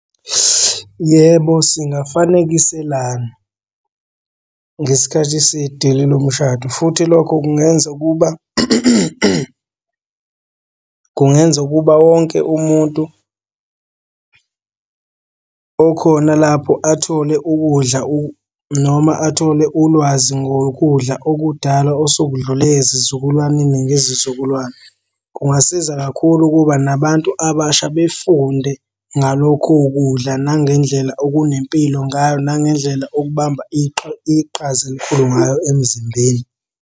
Yebo, singafanekiselana ngesikhathi sedili lomshado, futhi lokho kungenza ukuba kungenza ukuba wonke umuntu okhona lapho athole ukudla , noma athole ulwazi ngokudla okudala osekudlule ezizukulwaneni ngezizukulwane. Kungasiza kakhulu ukuba nabantu abasha befunde ngalokho kudla nangendlela okunempilo ngayo nangendlela okubamba iqhaza elikhulu ngayo emzimbeni.